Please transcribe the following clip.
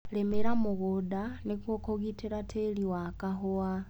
Rĩmĩra mũgunda nĩguo kũgitĩra tĩri wa kahũa.